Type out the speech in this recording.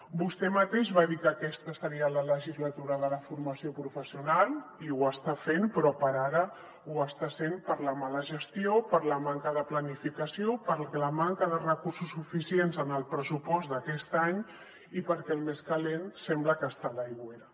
vostè mateix va dir que aquesta seria la legislatura de la formació professional i ho està sent però per ara ho està sent per la mala gestió per la manca de planificació per la manca de recursos suficients en el pressupost d’aquest any i perquè el més calent sembla que està a l’aigüera